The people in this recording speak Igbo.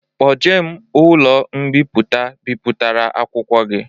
Kpoje m n'ụlọ mbipụta bipụtara akwụkwọ gi